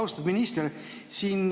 Austatud minister!